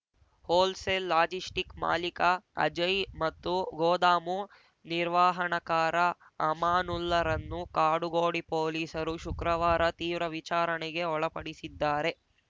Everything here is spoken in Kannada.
ಹೋಲ್‌ಸೇಲ್‌ ಲಾಜಿಸ್ಟಿಕ್‌ ಮಾಲಿಕ ಅಜಯ್‌ ಮತ್ತು ಗೋದಾಮು ನಿರ್ವಾಹಣಕಾರ ಅಮಾನುಲ್ಲರನ್ನು ಕಾಡುಗೋಡಿ ಪೊಲೀಸರು ಶುಕ್ರವಾರ ತೀವ್ರ ವಿಚಾರಣೆಗೆ ಒಳಪಡಿಸಿದ್ದಾರೆ